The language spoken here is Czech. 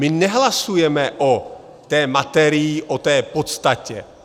My nehlasujeme o té materii, o té podstatě.